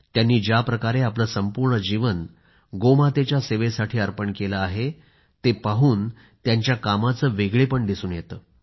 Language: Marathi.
त्यांनी ज्याप्रकारे आपलं संपूर्ण जीवन गोमातेच्या सेवेसाठी अर्पण केलं आहे ते पाहून त्यांच्या कामाचं वेगळेपण दिसून येतं